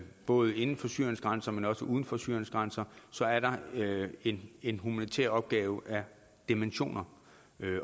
både inden for syriens grænser men også uden for syriens grænser så er der en en humanitær opgave af dimensioner